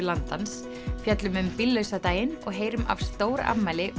Landans fjöllum um bíllausa daginn og heyrum af stórafmæli